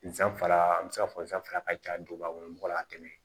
Nsanfara an bɛ se ka fɔ nsanfara ka ca duguba kɔnɔ mɔgɔ la ka tɛmɛ